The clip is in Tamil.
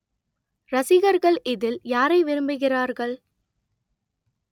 ரசிகர்கள் இதில் யாரை விரும்புகிறார்கள்